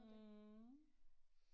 Mh